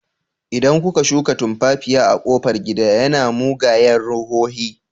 Idan kuka shuka tumfafiya a kofar gida, yana mugayen ruhohi.